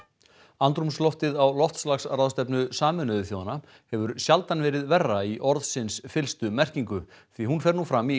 andrúmsloftið á loftslagsráðstefnu Sameinuðu þjóðanna hefur sjaldan verið verra í orðsins fyllstu merkingu því hún fer nú fram í